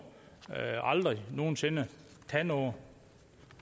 aldrig nogen sinde tage noget